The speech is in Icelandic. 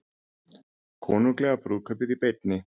Konunglega brúðkaupið í beinni